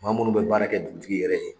Maa munnu be baara kɛ dugutigi yɛrɛ ye